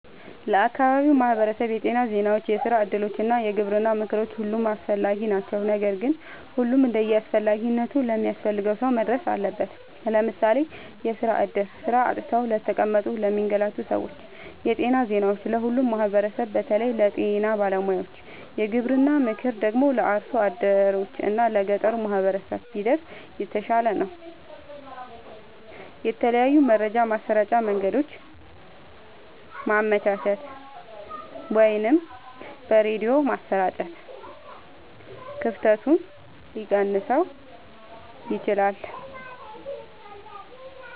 ለአካባቢው ማህበረሰብ የጤና ዜናዎች፣ የስራ እድሎች እና የግብርና ምክሮች ሁሉም አስፈላጊ ናቸው። ነገር ግን ሁሉም እንደየአስፈላጊነቱ ለሚያስፈልገው ሰው መድረስ አለበት። ለምሳሌ፦ የስራ እድል (ስራ አጥተው ለተቀመጡ ለሚንገላቱ ሰዎች) ,የጤና ዜናዎች(ለሁሉም ማህበረሰብ በተለይ ለጤና ባለሙያዎች) ,የግብርና ምክር ደግሞ(ለአርሶ አደሮች እና ለገጠሩ ማህበረሰብ) ቢደርስ የተሻለ ነው። የተለያዩ የመረጃ ማሰራጫ መንገዶችን ማመቻቸት(በሬድዮ ማሰራጨት) ክፍተቱን ሊቀንሰው ይችላል።